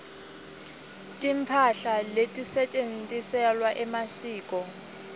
timphahla letisetjentisewa emasiko